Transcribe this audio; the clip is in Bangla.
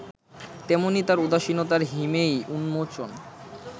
তেমনি তার উদাসীনতার হিমেই উন্মোচন